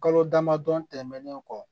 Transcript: Kalo damadɔ tɛmɛnen kɔ